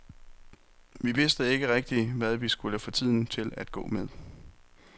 Vi vidste ikke rigtig, hvad vi skulle få tiden til at gå med.